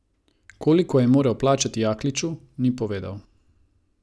Koliko je moral plačati Jakliču, ni povedal.